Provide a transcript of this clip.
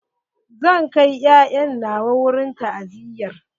Zan kai 'ya'ya na wurin ta'aziyar.